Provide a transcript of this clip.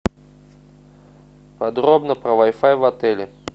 подробно про вай фай в отеле